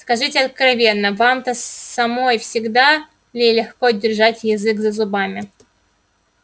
скажите откровенно вам-то самой всегда ли легко держать язык за зубами